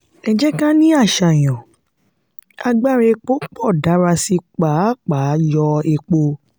ẹ jẹ́ ká ní àṣàyàn: agbára epo pọ dára sí pàápàá yọ epo.